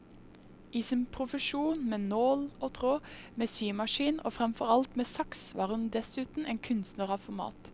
I sin profesjon med nål og tråd, med symaskin, og fremfor alt med saks var hun dessuten en kunstner av format.